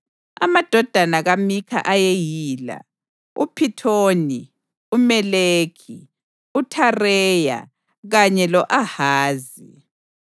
Amadodana kaMikha ayeyila: uPhithoni, uMeleki, uThareya kanye lo-Ahazi.